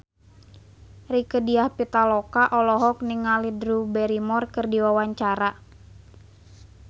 Rieke Diah Pitaloka olohok ningali Drew Barrymore keur diwawancara